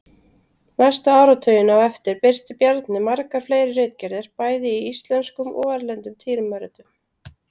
Næstu áratugina á eftir birti Bjarni margar fleiri ritgerðir bæði í íslenskum og erlendum tímaritum.